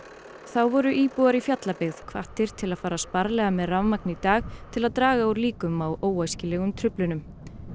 þá voru íbúar í Fjallabyggð hvattir til að fara sparlega með rafmagn í dag til að draga úr líkum á óæskilegum truflunum